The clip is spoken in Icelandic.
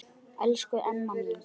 Elsku Emma mín.